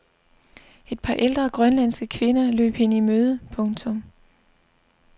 Et par ældre grønlandske kvinder løb hende i møde. punktum